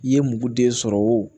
I ye mugu den sɔrɔ o